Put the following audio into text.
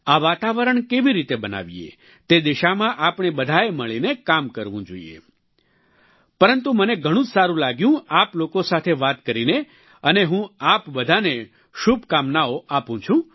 આ વાતાવરણ કેવી રીતે બનાવીએ તે દિશામાં આપણે બધાએ મળીને કામ કરવું જોઈએ પરંતુ મને ઘણું જ સારું લાગ્યું આપ લોકો સાથે વાત કરીને અને હું આપ બધાને શુભકામનો આપું છું